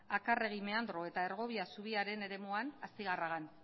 akarregi meandro eta ergobia zubiaren eremuan astigarragan